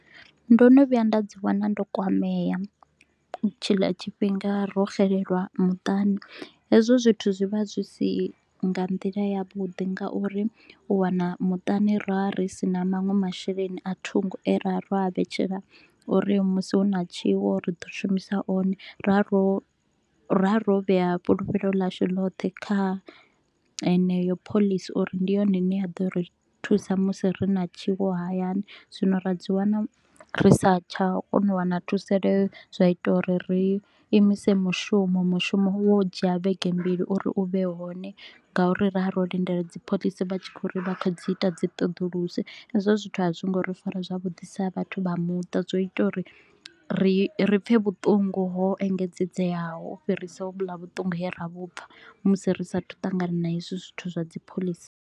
Ndo no vhuya nda dzi wana ndo kwamea tshiḽa tshifhinga ro xelelwa muṱani, hezwo zwithu zwi vha zwi si nga nḓila ya vhuḓi ngauri u wana muṱani ro vha ri si na manwe masheleni a thungo e ra vha ro a vhetshela uri musi hu na tshiwo ri ḓo shumisa one. Ra ro ra ro vhea fhulufhelo ḽashu lothe kha heneyo phoḽisi uri ndi yone ine ya ḓo ri thusa musi ri na tshiwo hayani, zwino ra dzi wana ri sa tsha kona u wana thusaleo, zwa ita uri ri imise mushumo. Mushumo wo dzhia vhege mbili uri u vhe hone ngauri ra ro lindela dzipholisi vha tshi kho u ri vha kha dzi ita dzi ṱoḓuluso. Hezwo zwithu a zwo ngo ri fara zwavhuḓi sa vhathu vha muṱa, zwo ita uri ri ri pfe vhuṱungu ho engedzedzeaho u fhirisa hovhula vhuṱungu he ra vhupfa musi ri sa a thu u ṱangana na hezwi zwithu zwa dzipholisi